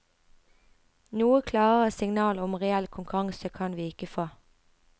Noe klarere signal om reell konkurranse kan vi ikke få.